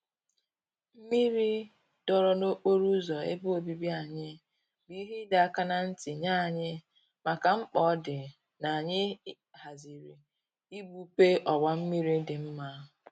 Mmiri dọọrọ n'okporo ụzọ ebe obibi anyị bụ ihe ịdọ aka na ntị nye anyị maka mkpa ọ dị n'anyị haziri igbupe ọwa mmiri dị nma